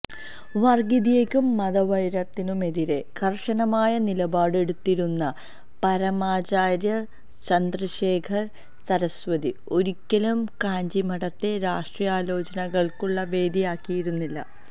വര്ഗ്ഗീയതയ്ക്കും മതവൈരത്തിനുമെതിരെ കര്ശനമായ നിലപാട് എടുത്തിരുന്ന പരമാചാര്യ ചന്ദ്രശേഖര സരസ്വതി ഒരിക്കലും കാഞ്ചിമഠത്തെ രാഷ്ട്രീയ ആലോചനകള്ക്കുള്ള വേദിയാക്കിയിരുന്നില്ല